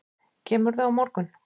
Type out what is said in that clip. Kemurðu á morgun?